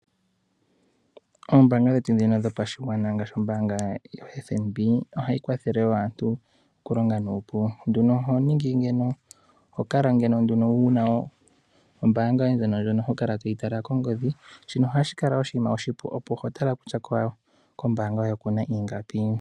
Oombanga dhetu dhino dhopashigwana ngaashi yoFnb ohayi kwathele wo aantu okulonga nuupu nduno oho kala nduno wu na ombaanga yoye ho tala kongodhi shino ohashi kala oshinima oshipu opo ho tala kutya kombaanga yoye oku na ingapi.